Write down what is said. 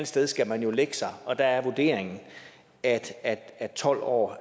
sted skal man jo lægge sig og der er vurderingen at at tolv år